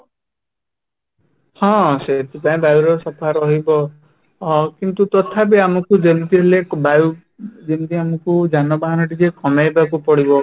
ହଁ , ସେଥିପାଇଁ ତ ବାୟୁ ସଫା ରହିବ ଅ କିନ୍ତୁ ତଥାପି ଆମକୁ ଯେମିତି ହେଲେ ବାୟୁ ଯେମିତି ଆମକୁ ଯାନବାହାନ ଟିକେ କମେଇବାକୁ ପଡିବ